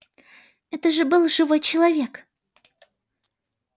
это же был живой человек